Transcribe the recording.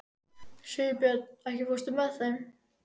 Sigurbjörn, ekki fórstu með þeim?